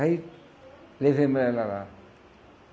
Aí, levamos ela lá.